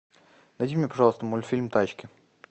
найди мне пожалуйста мультфильм тачки